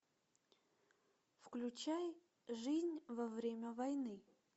включай жизнь во время войны